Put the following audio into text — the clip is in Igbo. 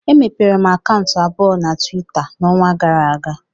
Emepere m akaụntụ abụọ na Tuweeta n'ọnwa gara aga